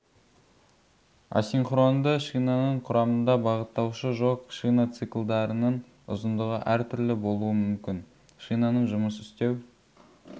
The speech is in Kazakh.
асинхронды шинаның құрамында бағыттаушы жоқ шина циклдарының ұзындығы әр түрлі болуы мүмкін шинаның жұмыс істеу